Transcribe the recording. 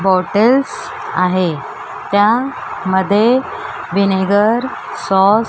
bottles आहे त्या मध्ये व्हिनेगर सॉस --